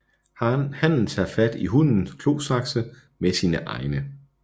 Hannen tager fat i hunnen klosakse med sine egne